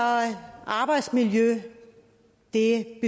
arbejdsmiljø det